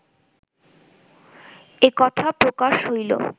এ কথা প্রকাশ হইল